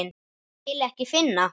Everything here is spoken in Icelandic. Vil ekki finna.